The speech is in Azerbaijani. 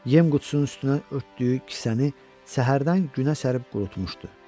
Yem qutusunun üstünə örtdüyü kisəni səhərdən günə sərib qurutmuşdu.